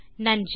நன்றி